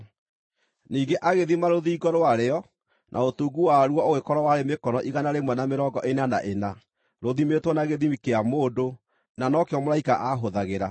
Ningĩ agĩthima rũthingo rwarĩo, na ũtungu waruo ũgĩkorwo warĩ mĩkono igana rĩmwe na mĩrongo ĩna na ĩna, rũthimĩtwo na gĩthimi kĩa mũndũ, na no kĩo mũraika aahũthagĩra.